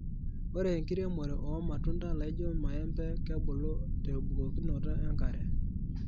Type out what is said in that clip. Ore enkiremore oo matuda laijo maembe kebulu tebukokinoto enkare.